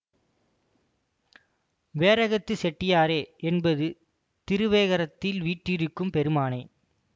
வேரகத்துச் செட்டியாரே என்பது திருவேகரத்தில் வீற்றிருக்கும் பெருமானே